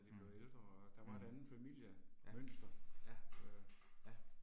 Mh, mh, ja, ja, ja